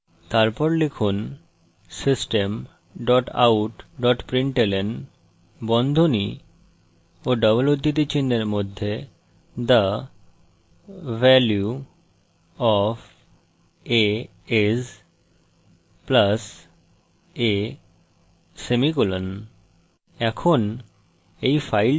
তারপর লিখুন system dot out dot println বন্ধনী of double উদ্ধৃতি চিনহের মধ্যে the value of a is + a semicolon